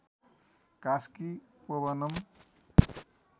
Kaski पोबनं